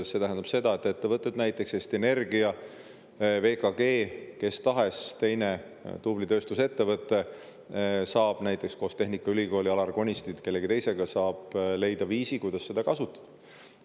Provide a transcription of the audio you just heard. See tähendab seda, et ettevõte, Eesti Energia, VKG või kes tahes teine tubli tööstusettevõte, saab näiteks koos tehnikaülikooli, Alar Konisti või kellegi teisega leida viisi, kuidas seda kasutada.